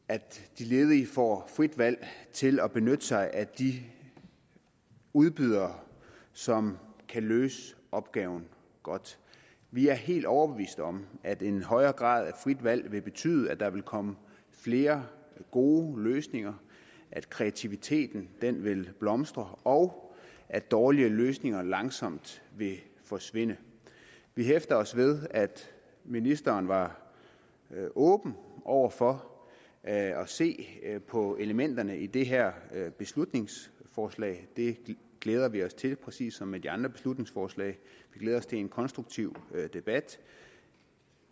de ledige får frit valg til at benytte sig af de udbydere som kan løse opgaven godt vi er helt overbevist om at en højere grad af frit valg vil betyde at der vil komme flere gode løsninger at kreativiteten vil blomstre og at dårlige løsninger langsomt vil forsvinde vi hæfter os ved at ministeren var åben over for at se på elementerne i det her beslutningsforslag og det glæder vi os til præcis som med de andre beslutningsforslag vi glæder os til en konstruktiv debat